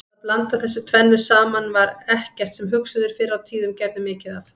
Að blanda þessu tvennu saman var ekkert sem hugsuðir fyrr á tíðum gerðu mikið af.